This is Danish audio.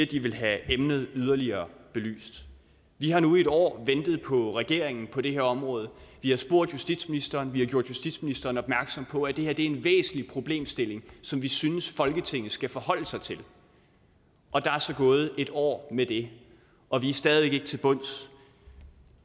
de vil have emnet yderligere belyst vi har nu i et år ventet på regeringen på det her område vi har spurgt justitsministeren vi har gjort justitsministeren opmærksom på at det her er en væsentlig problemstilling som vi synes folketinget skal forholde sig til og der er så gået et år med det og vi er stadig ikke nået til bunds